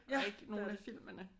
Ja det er det